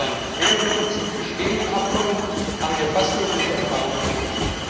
Mit unseren mehreren Dutzend bestehenden Abkommen haben wir fast nur gute Erfahrungen gemacht.